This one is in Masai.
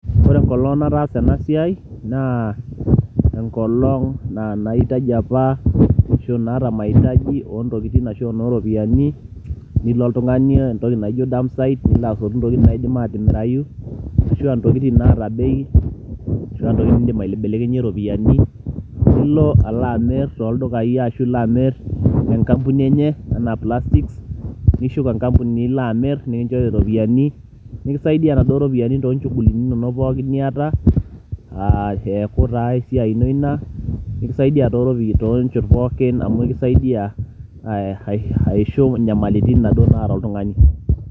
Ore enkolong' natasa ena siai naa enkolong' na naitaji apa ashu naata mahitaji o ntokitin ashu a eno ropiani, nilo oltung'ani entoki naji dumpsite nilo asotu ntokitin naidim atimirayu ashu a ntokitin naata bei ashu a ntokitin niindim aibelekenye iropiani, nilo alo amir toldukai ashu ilo amir te nkampuni enye enaa plastic, nishuk enkampuni nilo amir nekinjori iropiani nekisaidia inaduo ropiani too nchugulini inonok niata aa eeku taa esiai ino ina, nekisaidia too njot pookin amu kisaidia aishu nyamalitin naduo naata oltung'ani.